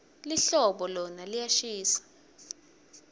lihlobo lona liyashisa